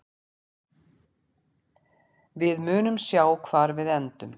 Við munum sjá hvar við endum.